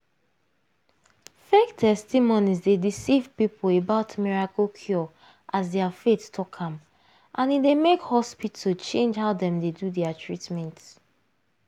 fake testimonies dey deceive people about miracle cure as their faith talk am and e dey make hospital change how dem dey do their treatment.